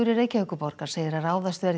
Reykjavíkurborgar segir að ráðast verði í